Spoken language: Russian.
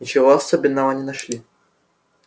ничего особенного не нашли